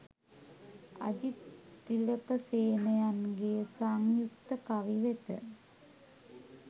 අජිත් තිලකසේනයන්ගේ සංයුක්ත කවි වෙත